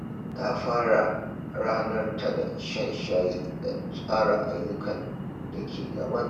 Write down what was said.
Ta fara ranar ta da shan shayi da tsara ayyukan da ke gabanta.